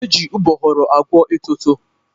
E ji ụgbọghoro agwọ etoto.